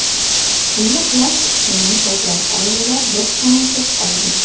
Uyi qulab tushgan ko‘plab oilalar boshpanasiz qolgan.